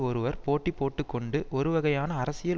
ஒருவர் போட்டி போட்டு கொண்டு ஒரு வகையான அரசியல்